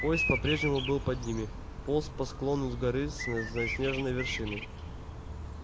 поезд по-прежнему был под ними полз по склону горы с заснеженной вершиной